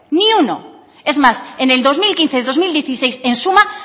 es más en el dos mil quince y dos mil dieciséis en suma